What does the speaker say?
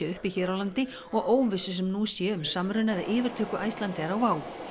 uppi hér á landi og óvissu sem nú sé um samruna eða yfirtöku Icelandair á WOW